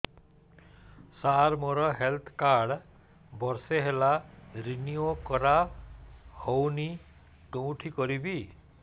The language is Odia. ସାର ମୋର ହେଲ୍ଥ କାର୍ଡ ବର୍ଷେ ହେଲା ରିନିଓ କରା ହଉନି କଉଠି କରିବି